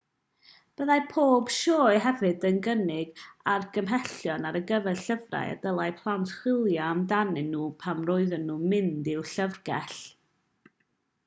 byddai pob sioe hefyd yn cynnig argymhellion ar gyfer llyfrau y dylai plant chwilio amdanyn nhw pan roedden nhw'n mynd i'w llyfrgell